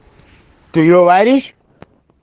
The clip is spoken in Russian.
ты говоришь